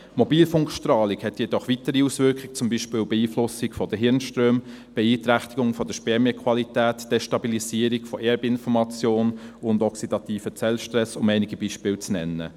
Mobilfunkstrahlung hat jedoch weitere Auswirkungen, zum Beispiel die Beeinflussung der Hirnströme, die Beeinträchtigung der Spermienqualität, die Destabilisierung der Erbinformation und den oxidativen Zellstress, um einige Beispiele zu nennen.